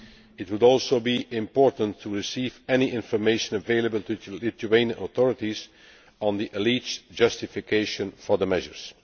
It would also be important to receive any information available to the Lithuanian authorities on the alleged justification for the measures.